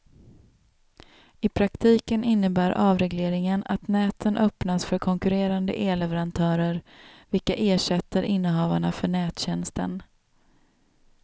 I praktiken innebär avregleringen att näten öppnas för konkurrerande elleverantörer, vilka ersätter innehavarna för nättjänsten.